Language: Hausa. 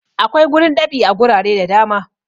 Akwai gurin dab'i a gurare da da ma.